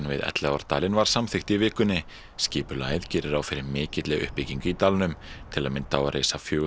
við Elliðaárdalinn var samþykkt í vikunni skipulagið gerir ráð fyrir mikilli uppbyggingu í dalnum til að mynda á að reisa fjögur